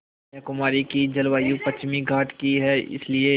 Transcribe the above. कन्याकुमारी की जलवायु पश्चिमी घाट की है इसलिए